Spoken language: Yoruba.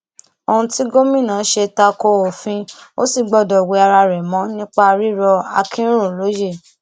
ohun tí gómìnà ṣe ta ko òfin ò sì gbọdọ wẹ ara rẹ mọ nípa rírọ akinrun lóye